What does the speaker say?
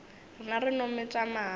rena re no metša mare